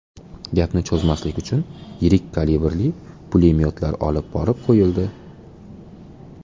Gapni cho‘zmaslik uchun yirik kalibrli pulemyotlar olib borib qo‘yildi.